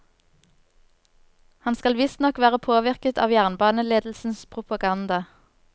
Han skal visstnok være påvirket av jernbaneledelsens propaganda.